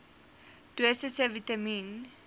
dosisse vitamien